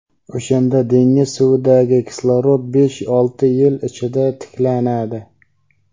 o‘shanda dengiz suvidagi kislorod besh-olti yil ichida tiklanadi.